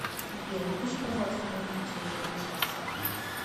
сбер выключи пожалуйста музыку через один час